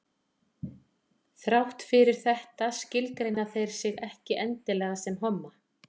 þrátt fyrir þetta skilgreina þeir sig ekki endilega sem homma